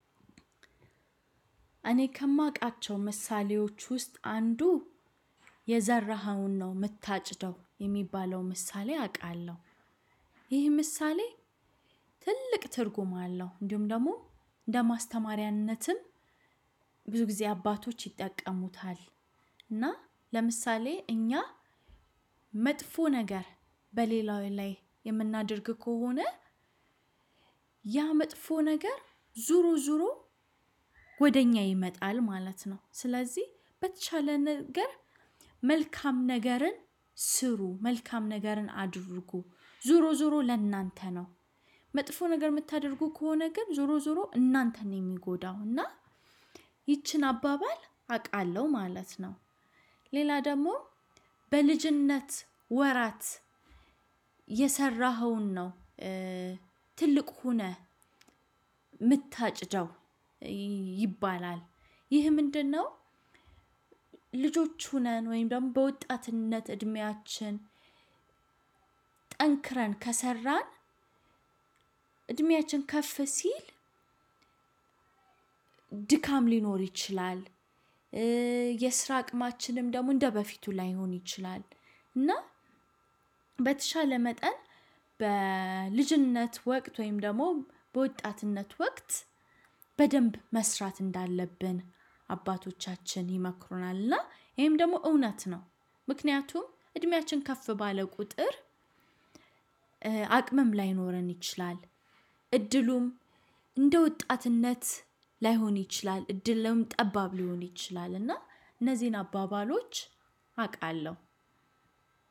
እኔ ከማውቃቸው ምሳሌዎች ውስጥ አንዱ የዘራኸውን ነው የምታጭደው የሚባለው ምሳሌ አውቃለሁ። ይህ ምሳሌ ትልቅ ትርጉም አለው። እንዲሁም ደግሞ እንደ ማስተማሪያነትም ብዙ ጊዜ አባቶች ይጠቀሙታል። እና ለምሳሌ እኛ መጥፎ ነገር በሌላው ላይ የምናደርግ ከሆነ ያ መጥፎ ነገር ዙሮ ዙሮ ወደ እኛ ይመጣል ማለት ነው። ስለዚህ በተቻለ ነገር መልካም ነገርን ስሩ መልካም ነገርን አድርጉ ዙሮ ዙሮ ለእናንተ ነው። መጥፎ ነገር የምታደርጉ ከሆነ ግን ዞሮ ዞሮ እናንተን ነው የሚጎዳው እና ይቺን አባባል አውቃለሁ ማለት ነው። ሌላ ደግሞ በልጅነት ወራት የሰራኸውን ነው ትልቅ ሆነህ የምታጭደው ይባላል። ይህ ምንድነው? ልጆች ሆነን ወይም ደግሞ በወጣትነት እድሜያችን ጠንክረን ከሰራን እድሜያችን ከፍ ሲል ድካም ሊኖር ይችላል። የስራ አቅማችንም ደግሞ እንደበፊቱ ላይሆን ይችላል። እና በተሻለ መጠን በልጅነት ወቅት ወይም ደግሞ በወጣትነት ወቅት በደንብ መስራት እንዳለብን አባቶቻችን ይመክሩናልና ይሄም ደግሞ እውነት ነው። ምክንያቱም እድሜያችን ከፍ ባለ ቁጥር አቅምም ላይኖረን ይችላል። እድሉም እንደ ወጣትነት ላይሆን ይችላል እድል ጠባብ ሊሆን ይችላል እና እነዚህን አባባሎች አውቃለሁ።